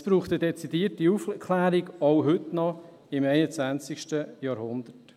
Es braucht eine dezidierte Aufklärung, auch heute noch, im 21. Jahrhundert.